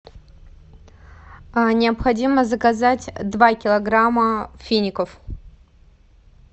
необходимо заказать два килограмма фиников